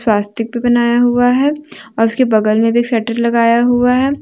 स्वास्तिक भी बनाया हुआ है और उसके बगल में भी एक शटर लगाया हुआ है।